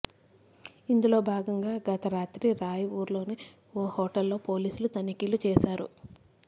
ఇందులో భాగంగా గత రాత్రి రాయ్ పూర్ లోని ఓ హోటల్ లో పోలీసులు తనిఖీలు చేశారు